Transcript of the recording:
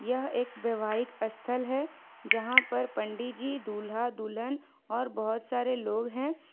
यह एक वैवाहिक स्थल है जहां पर पंडित जी दूल्हा दुल्हन और बहुत सारे लोग हैं।